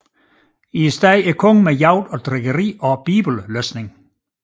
I stedet kongen med jagt og drikkeri og bibellæsning